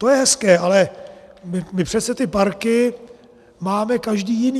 To je hezké, ale my přece ty parky máme každý jiný.